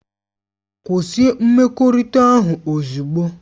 Kwụsị mmekọrịta ahụ ozugbo!